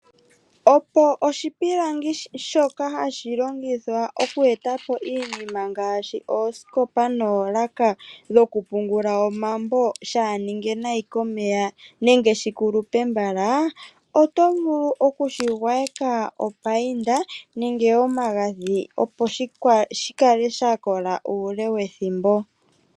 Opo oshipilangi shoka hashi longithwa okunduluka po oosikopa oshowo oolaka ndhoka hadhi pungulwa omambo shaa ninge nayi komvula nenge shi kulupe mbala oto vulu okudhi payinda, opo shi kale sha kola uule wethimbo.